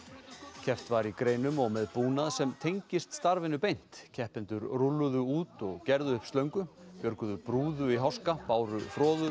keppt var í greinum og með búnað sem tengist starfinu beint keppendur rúlluðu út og gerðu upp slöngu björguðu í háska báru